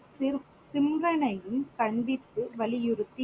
கண்டித்து வலியுறுத்தி